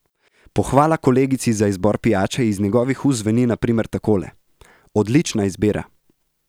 Pohvala kolegici za izbor pijače iz njegovih ust zveni na primer takole: "Odlična izbira.